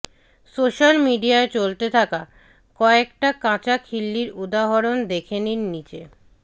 social মিডিয়ায় চলতে থাকা কয়েকটা কাঁচা খিল্লির উদাহরণ দেখে নিন নিচে